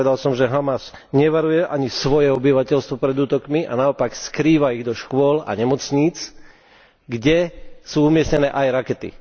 Povedal som, že Hamas nevaruje ani svoje obyvateľstvo pred útokmi a naopak skrýva ich do škôl a nemocníc, kde sú umiestnené aj rakety.